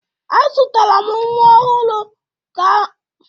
Azụtara m nwa ọhụrụ m karama nri ọhụrụ